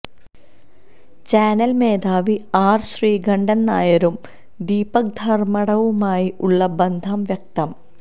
channel മേധാവി R Sreekantan നായരും ദീപക് ധർമ്മടവുമായി ഉള്ള ബന്ധം വ്യക്തം